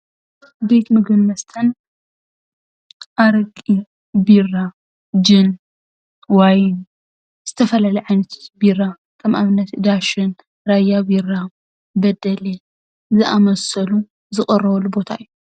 ቤት ምግብን መስተን ኣረቂ ፣ቢራ ፣ጅን ፣ዋይን ዝተፈላለየ ዓይነት ቢራ ከም ኣብነት ዳሽን ፣ራያ ቢራ፣ በደሌ ዝኣመሰሉ ዝቐርበሉ ቦታ እዩ፡፡